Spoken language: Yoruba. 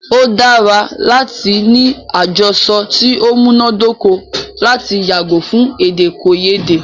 O dára láti ní àjọsọ ti o múná dóko lati yàgò fún èdèkòyédè.